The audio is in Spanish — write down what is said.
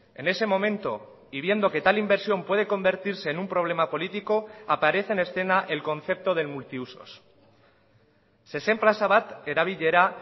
en ese momento y viendo que tal inversión puede convertirse en un problema político aparece en escena el concepto del multiusos zezen plaza bat erabilera